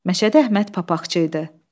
Məşədi Əhməd papaqçı idi.